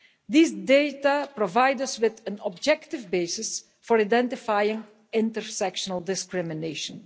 These data provide us with an objective basis for identifying intersectional discrimination.